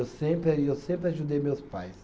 Eu sempre aí eu sempre ajudei meus pais.